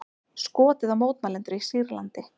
Skotið á mótmælendur í Sýrlandi